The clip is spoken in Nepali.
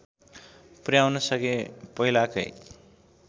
पुर्‍याउन सके पहिलाकै